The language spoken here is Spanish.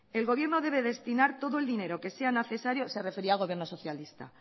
el gobierno debe destinar todo el dinero que sea necesario se refería al gobierno socialista